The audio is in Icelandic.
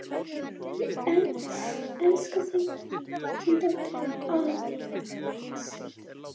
Elska þig, þín dóttir, Ásdís.